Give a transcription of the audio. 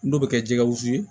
N'o bɛ kɛ jɛgɛwusu ye